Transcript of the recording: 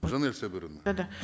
жанель сабыровна да да